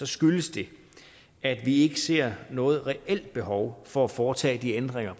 skyldes det at vi ikke ser noget reelt behov for at foretage de ændringer